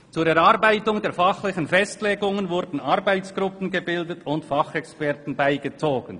Zur Erarbeitung der fachlichen Festlegungen wurden Arbeitsgruppen gebildet und Fachexperten beigezogen.